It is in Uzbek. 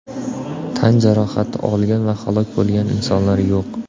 Tan jarohati olgan va halok bo‘lgan insonlar yo‘q.